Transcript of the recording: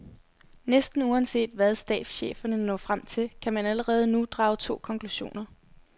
Næsten uanset hvad stabscheferne når frem til, kan man allerede nu drage to konklusioner.